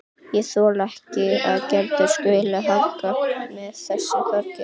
Ég þoli ekki að Gerður skuli hanga með þessum Þorgeiri.